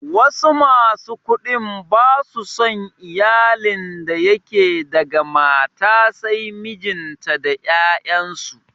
Wasu masu kuɗin ba su son iyalin da yake daga mata sai mijinta da 'ya'yansu.